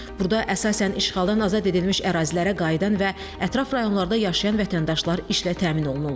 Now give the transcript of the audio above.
Burda əsasən işğaldan azad edilmiş ərazilərə qayıdan və ətraf rayonlarda yaşayan vətəndaşlar işlə təmin olunurlar.